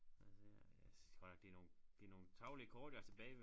Lad os se her jeg synes godt nok det nogle det nogle tarvelige kort jeg har tilbage